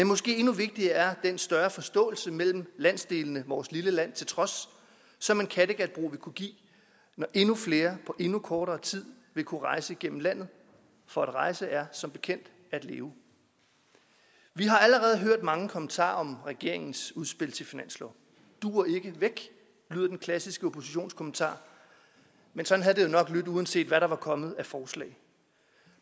måske endnu vigtigere ting er den større forståelse mellem landsdelene vores lille land til trods som en kattegatbro vil kunne give når endnu flere på endnu kortere tid vil kunne rejse igennem landet for at rejse er som bekendt at leve vi har allerede hørt mange kommentarer om regeringens udspil til finanslov duer ikke væk lyder den klassiske oppositionskommentar men sådan havde det jo nok lydt uanset hvad der var kommet af forslag